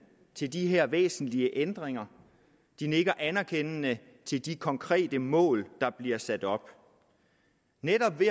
til de her væsentlige ændringer de nikker anerkendende til de konkrete mål der bliver sat op netop ved